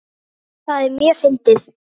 Það er mjög fyndið.